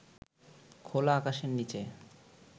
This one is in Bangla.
খোলা আকাশের নিচে